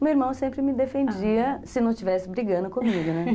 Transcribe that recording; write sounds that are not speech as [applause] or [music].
O meu irmão sempre me defendia se não estivesse brigando comigo, né? [laughs]